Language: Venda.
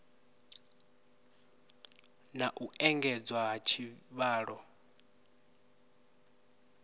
na u engedzwa ha tshivhalo